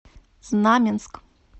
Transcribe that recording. знаменск